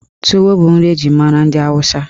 Tuwo bụ nri eji mara ndị Awụsa.